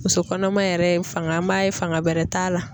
Muso kɔnɔma yɛrɛ ye fanga an b'a ye fanga bɛrɛ t'a la.